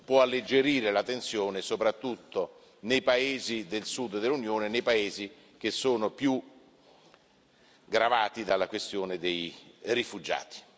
può alleggerire la tensione soprattutto nei paesi del Sud dell'Unione, nei paesi che sono più gravati dalla questione dei rifugiati.